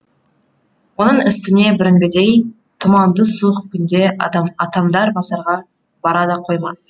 оның үстіне бүгінгідей тұманды суық күнде атамдар базарға бара да қоймас